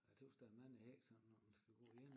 Jeg tøs der er mange hække sådan når man skal gå ene